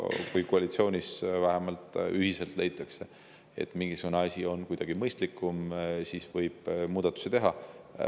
Kui koalitsioonis ühiselt leitakse, et mingisugune asi on kuidagi mõistlikum, siis võib muudatusi teha.